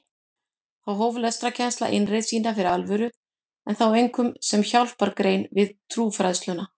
Þá hóf lestrarkennsla innreið sína fyrir alvöru en þá einkum sem hjálpargrein við trúfræðsluna.